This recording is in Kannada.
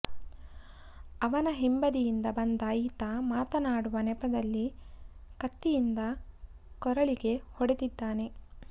ಅವನ ಹಿಂಬದಿಯಿಂದ ಬಂದ ಈತ ಮಾತನಾಡುವ ನೇಪದಲ್ಲಿ ಕತ್ತಿಯಿಂದ ಕೊರಳಿಗೆ ಹೊಡೆದಿದ್ದಾನೆ